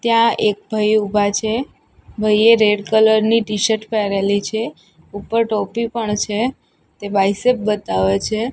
ત્યાં એક ભઈ ઉભા છે ભાઈએ રેડ કલર ની ટીશર્ટ પેહરેલી છે ઉપર ટોપી પણ છે તે બાયસેપ બતાવે છે.